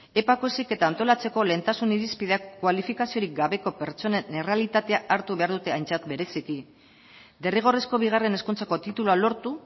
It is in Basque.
epako heziketa antolatzeko lehentasun irizpideak kualifikaziorik gabeko pertsonen errealitatea hartu behar dute aintzat bereziki derrigorrezko bigarren hezkuntzako titulua lortu